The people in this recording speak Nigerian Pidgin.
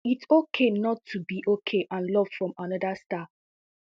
its okay not to be okay and love from another star